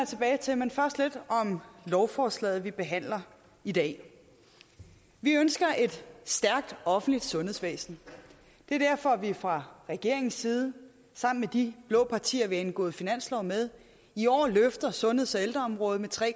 tilbage til men først lidt om lovforslaget vi behandler i dag vi ønsker et stærkt offentligt sundhedsvæsen det er derfor at vi fra regeringens side sammen med de blå partier vi har indgået finanslov med i år løfter sundheds og ældreområdet med tre